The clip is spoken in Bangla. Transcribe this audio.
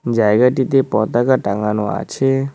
জায়গাটিতে পতাকা টাঙানো আছে-এ।